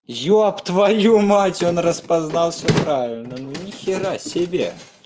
ёб твою мать он распознал всё правильно ну нехера себе